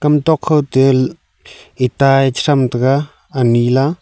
hamtok khote itta e chathram tega anyi la.